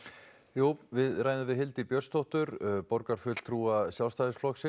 jú við ræðum við Hildi Björnsdóttur borgarfulltrúa Sjálfstæðisflokks